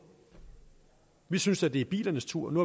vi synes da det er bilernes tur nu